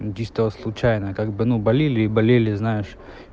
ну чисто случайно как бы ну болели и болели знаешь